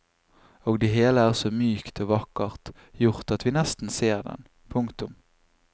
Og det hele er så mykt og vakkert gjort at vi nesten ser den. punktum